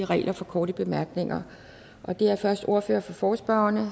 regler for korte bemærkninger det er først ordføreren for forespørgerne